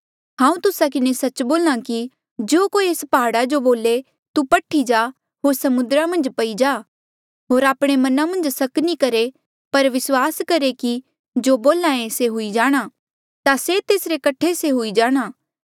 हांऊँ तुस्सा किन्हें सच्च बोल्हा कि जो कोई ऐस प्हाड़ा जो बोले तू पठ्ही जा होर समुद्रा मन्झ पई जा होर आपणे मना मन्झ सक नी करहे पर विस्वास करहे कि जो बोल्हा ऐें से हुई जाणा ता से तेसरे कठे से हुई जाणा